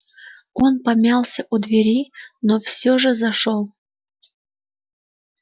он помялся у двери но все же зашёл